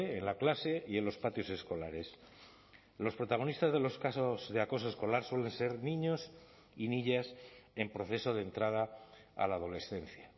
en la clase y en los patios escolares los protagonistas de los casos de acoso escolar suelen ser niños y niñas en proceso de entrada a la adolescencia